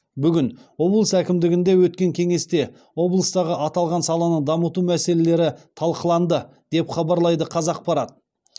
бүгін облыс әкімдігінде өткен кеңесте облыстағы аталған саланы дамыту мәселелері талқыланды деп хабарлайды қазақпарат